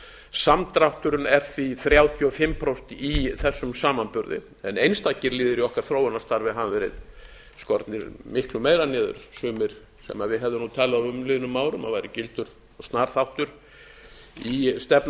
samdrátturinn er því þrjátíu og fimm prósent í þessum samanburði en einstaka liðir í þessu þróunarstarfi hafa verið skornir miklu meira niður sumir sem við hefðum talið á um liðnum árum að væri gildur og snar þáttur í stefnu okkar